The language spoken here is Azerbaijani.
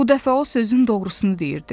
Bu dəfə o sözün doğrusunu deyirdi.